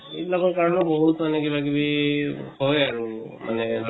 এই বিলাকৰ কাৰণে বহুত মানে কিবা কিবি হয় আৰু। মানে